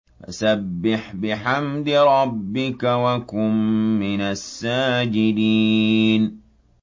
فَسَبِّحْ بِحَمْدِ رَبِّكَ وَكُن مِّنَ السَّاجِدِينَ